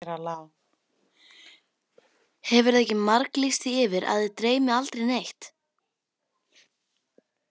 Hefurðu ekki marglýst því yfir að þig dreymi aldrei neitt?